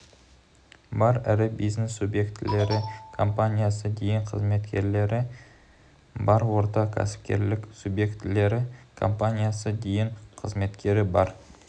бар ірі бизнес субъектілері компаниясы дейін қызметкері бар орта кәсіпкерлік субъектілері компаниясы дейін қызметкері бар